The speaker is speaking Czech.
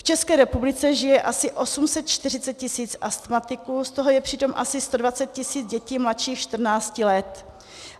V České republice žije asi 840 tisíc astmatiků, z toho je přitom asi 120 tisíc dětí mladších 14 let.